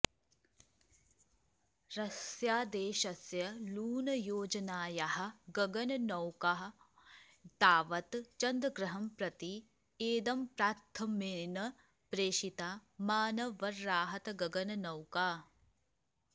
रष्यादेशस्य लूनयोजनायाः गगननौका तावत् चन्द्रग्रहं प्रति ऐदम्प्राथम्येन प्रेषिता मानवर्राहतगगननौका